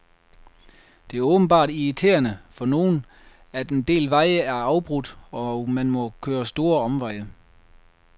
Det er åbenbart irriterende, for nogen, at en del veje er afbrudt, og man må køre store omveje.